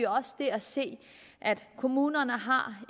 også der se at kommunerne